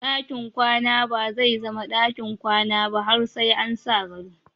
Ɗakin kwana bazai zama ɗakin kwana ba har sa an sa gado.